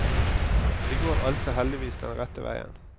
Det går altså heldigvis den rette veien.